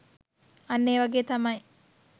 අන්න ඒ වගේ තමයි.